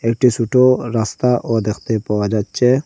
একটি সুটো রাস্তাও দেখতে পাওয়া যাচ্চে।